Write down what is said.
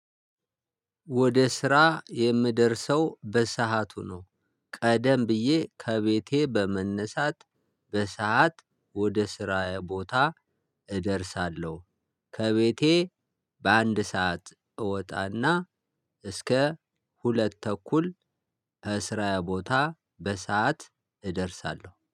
ወደ ስራ የምደርሰው በሰአቱ ነው። ቀደም ብዬ ከቤቴ በመነሳት። በሰአት ወደ ስራዬ ቦታ እደርሳለሁ። ከቤቴ በአንድ ሰዓት እወጣ እና እስከ ሁለት ተኩል እስራ ቦታ በሰአት እደርሳለሁ